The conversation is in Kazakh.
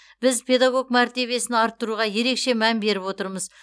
біз педагог мәртебесін арттыруға ерекше мән беріп отырмыз